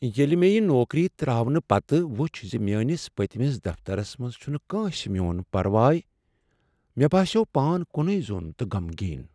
ییٚلہ مےٚ یہ نوکری ترٛاونہٕ پتہٕ وچھ ز میٲنس پٔتمس دفترس منٛز چھنہٕ کٲنسہ میون پرواے، مےٚ باسیٛوو پان کُنے زوٚن تہٕ غمگین۔